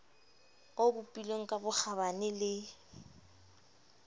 o bopilweng ka bokgabane le